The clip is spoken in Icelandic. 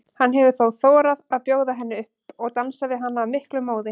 Hann hefur þá þorað að bjóða henni upp og dansar við hana af miklum móði.